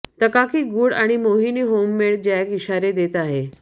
तकाकी गूढ आणि मोहिनी होममेड जॅक इशारे देत आहे